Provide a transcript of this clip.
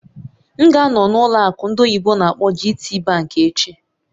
M ga-anọ na ụlọ akụ ndị oyibo n'akpọ "GTBank" echi